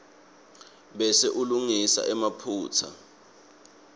bese ulungisa emaphutsa